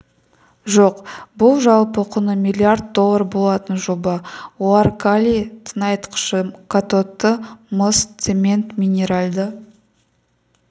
жоқ бұл жалпы құны миллиард доллар болатын жоба олар калий тыңайтқышы катодты мыс цемент минеральды